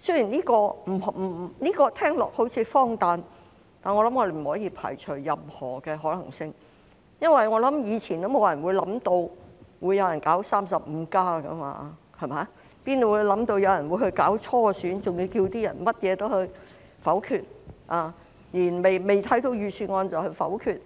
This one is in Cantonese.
雖然這聽起來好像很荒誕，但我們不可以排除任何可能性，以往也沒有人想到會有人搞 "35+"， 我們哪會想到有人會搞初選，還要求參選人當選後甚麼也要否決，連未看過的預算案也要否決，